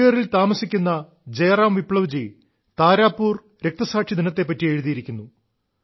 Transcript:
മുംഗേറിൽ താമസിക്കുന്ന ജയറാം വിപ്ലവ്ജി താരാപൂർ രക്തസാക്ഷിദിനത്തെ പറ്റി എഴുതിയിരിക്കുന്നു